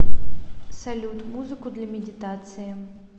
салют музыку для медитации